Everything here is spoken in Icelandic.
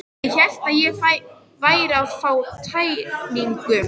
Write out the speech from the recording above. Ég hélt ég væri að fá tæringu.